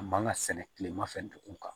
A man ka sɛnɛ kilema fɛ dugu kan